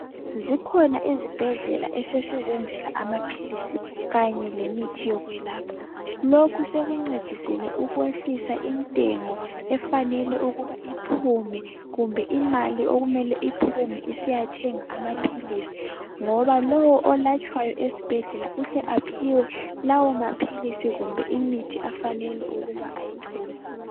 Zikhona izibhedlela esesizenzela amaphilisi kanye lemithi yokwelapha lokhu sokuncedisile ukwesihla intengo efanele ukubana iphume kumbe imali okumele iphume isiyathenga amaphilisi ngoba lowo olatshwayo esibhedlela uhle aphiwe lawo maphilisi kumbe imithi ofanele ukuba awuthole